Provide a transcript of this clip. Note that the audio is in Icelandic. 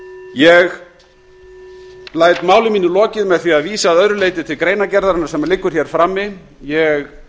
ég læt máli mínu lokið með því að vísa að öðru leyti til greinargerðarinnar sem liggur frammi ég